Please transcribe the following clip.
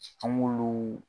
An k'olu.